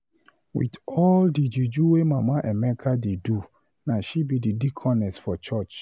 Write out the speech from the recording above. With all the juju Mama Emeka dey do na she be deaconess for church